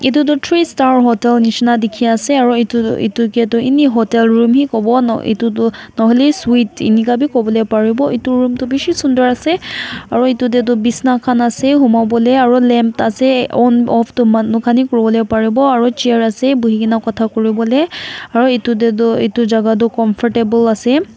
etu tu three star hotel nisna dekhi ase aru etu etu ke tu any hotel room he kobo etu tu nohaile sweet eninka bhi kobo le pari bo nohiole room tu bisi sunder ase aru etu te tu bisna khan ase huma bole aru lem ase on of tu manu khan he kori bole Pari bo aru chair ase bohe kina kotha kori bole aru etu te tu etu jagah tu comfortable ase.